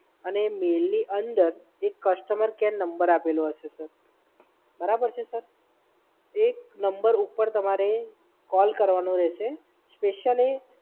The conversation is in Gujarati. અને એ મેઇલની અંદર એક નંબર આપેલો હશે. બરાબર છે, સર? એ નંબર પર તમારે કોલ કરવાનો રહેશે. સ્પેશિયલી